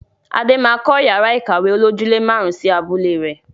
Adé máa kọ yàrá ìkàwé olojúle máarun sì abúlé rẹ.